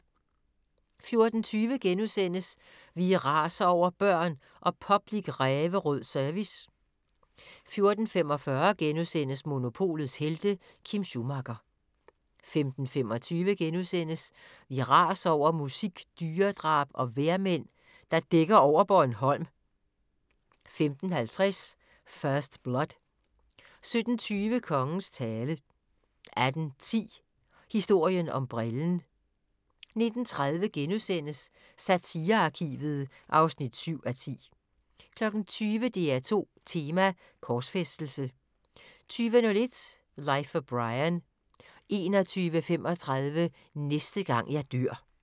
14:20: Vi raser over børn og "public ræverød service" * 14:45: Monopolets helte: Kim Schumacher * 15:25: Vi raser over musik, dyredrab og vejrmænd, der dækker over Bornholm * 15:50: First Blood 17:20: Kongens tale 18:10: Historien om brillen 19:30: Satirearkivet (7:10)* 20:00: DR2 Tema: Korsfæstelse 20:01: Life of Brian 21:35: Næste gang jeg dør